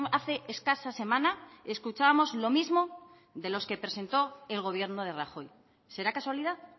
hace escasa semana escuchamos lo mismo de los que presentó el gobierno de rajoy será casualidad